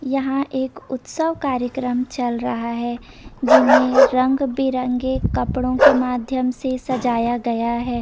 यहाँ एक उत्सव कार्यक्रम चल रहा हैं जिन्हें रंग बिरंगे कपड़ो के माध्यम से सजाया गया हैं।